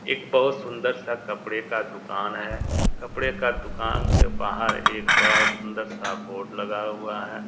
एक बहोत सुंदर सा कपड़े का दुकान है कपड़े का दुकान के बाहर एक बड़ा सुंदर सा बोर्ड लगा हुआ है।